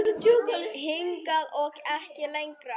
Hingað og ekki lengra.